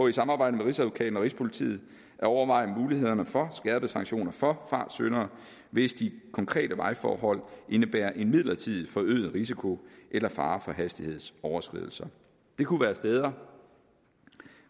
et samarbejde med rigsadvokaten og rigspolitiet at overveje mulighederne for skærpede sanktioner for fartsyndere hvis de konkrete vejforhold indebærer en midlertidigt forøget risiko eller fare for hastighedsoverskridelser det kunne være steder